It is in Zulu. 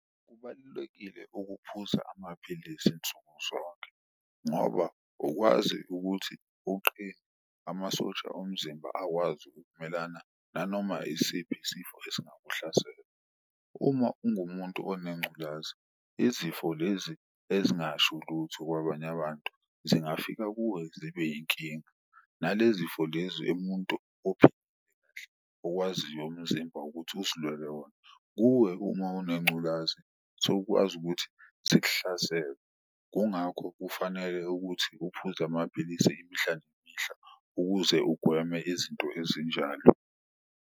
Kubalulekile ukuphuza amaphilisi nsuku zonke ngoba ukwazi ukuthi uqine amasosha omzimba akwazi ukumelana nanoma isiphi isifo esingakuhlasela. Uma ungumuntu onengculaza izifo lezi ezingasho lutho kwabanye abantu zingafika kuwe zibe inkinga nalezifo lezi umuntu kahle okwaziyo umzimba wakho ukuthi uzilwele wona. Kuwe uma unengculazi zokwazi ukuthi zikuhlasele, kungakho kufanele ukuthi uphuze amapilisi imihla nemihla ukuze ugweme izinto ezinjalo.